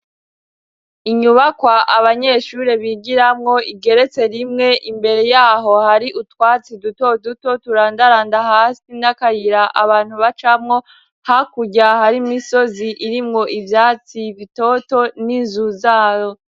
Inyubakwa abanyeshure bigiramwo igeretse rimwe, imbere yaho hari utwatsi duto duto turandaranda hasi n'akayira abantu bacamwo, hakurya hari n'imisozi irimwo ivyatsi bitoto n'inzu zabo.